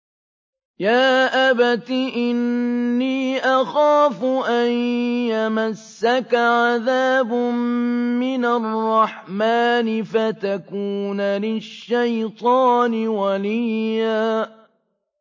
يَا أَبَتِ إِنِّي أَخَافُ أَن يَمَسَّكَ عَذَابٌ مِّنَ الرَّحْمَٰنِ فَتَكُونَ لِلشَّيْطَانِ وَلِيًّا